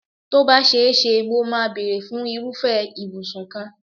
Tó bá ṣe é ṣe, mo máa bèrè fún irúfẹ́ ìbùsùn kan.